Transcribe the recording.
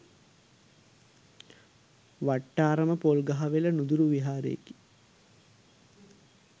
වට්ටාරම පොල්ගහවෙල නුදුරු විහාරයකි.